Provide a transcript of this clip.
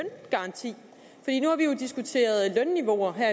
diskuteret lønniveauer her